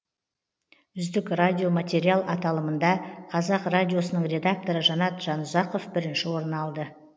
үздік радио материал аталымында қазақ радиосының редакторы жанат жанұзақов бірінші орын алды